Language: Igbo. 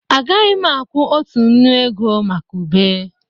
A gaghị m akwụ otu nnu ego maka ube